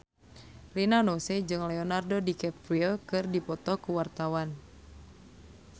Rina Nose jeung Leonardo DiCaprio keur dipoto ku wartawan